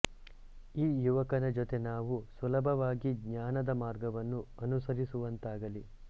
ಈ ಯುವಕನ ಜೊತೆ ನಾವು ಸುಲಭವಾಗಿ ಜ್ಞಾನದ ಮಾರ್ಗವನ್ನು ಅನುಸರಿಸುವಂತಾಗಲಿ